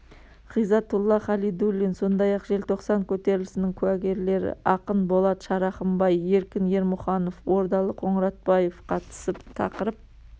ғизатулла халидуллин сондай-ақ желтоқсан көтерілісінің куәгерлері ақын болат шарахымбай еркін ермұханов ордалы қоңыратбаев қатысып тақырып